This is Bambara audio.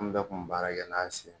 An bɛɛ kun bɛ baara kɛ n'an si